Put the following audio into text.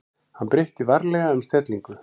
Hann breytti varlega um stellingu.